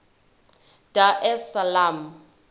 dar es salaam